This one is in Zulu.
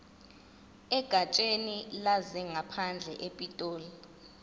egatsheni lezangaphandle epitoli